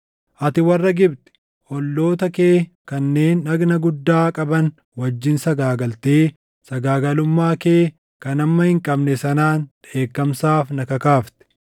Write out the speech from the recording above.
Ati warra Gibxi, olloota kee kanneen dhagna guddaa qaban wajjin sagaagaltee sagaagalummaa kee kan hamma hin qabne sanaan dheekkamsaaf na kakaafte.